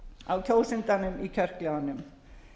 á kjósandanum í kjörklefanum